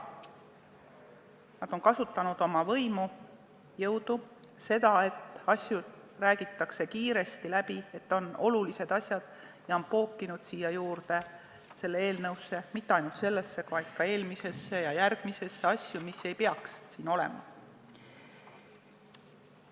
Nad on kasutanud oma võimu, jõudu, seda, et asju räägitakse kiiresti läbi, et on mingid asjad, mis nad on pookinud sellesse eelnõusse – mitte ainult sellesse, vaid ka eelmisesse ja järgmisesse – ja mis ei peaks siin olema.